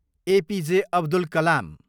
APJ. Abdul Kalam